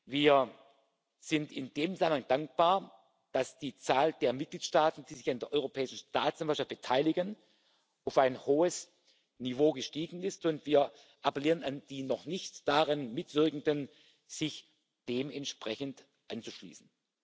Wir sind in dem Zusammenhang dankbar, dass die Zahl der Mitgliedstaaten, die sich an der Europäischen Staatsanwaltschaft beteiligen, auf ein hohes Niveau gestiegen ist, und wir appellieren an die noch nicht daran Mitwirkenden, sich dementsprechend anzuschließen.